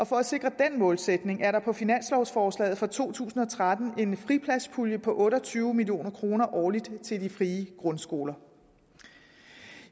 for at sikre den målsætning er der på finanslovforslaget for to tusind og tretten en fripladspulje på otte og tyve million kroner årligt til de frie grundskoler